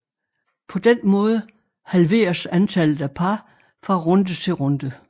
På den måde halveres antallet af par fra runde til runde